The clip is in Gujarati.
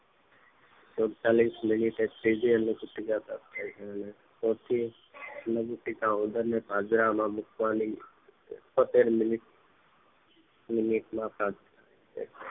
સુડ્તાલીશ મીનીટે ત્રીજી અન્ન પેટીકા પ્રાપ્ત થાય છે ચોથી અન્ન પેટીકા ઉંદરને પાંજરામાં મુકવાની ત્રણ ત્રણ મિનીટ